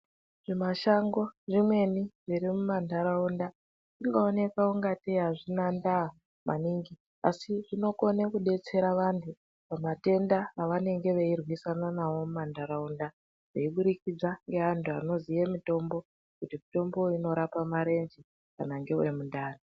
Zvimashango zvimweni zviri mumantaraunda zvinooneka ungatee hazvinda ndaa maningi asi zvinokone kudetsera vantu pamatenda avanenge veirwisana nawo mumantaraunda. Veibudikidza neantu anoziye mitombo kuti mutombo uyu unorapa marenje kana ngewemundani.